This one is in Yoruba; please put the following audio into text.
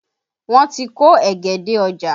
Wọ́n ti kó ẹ̀gẹ́ dé ọ́jà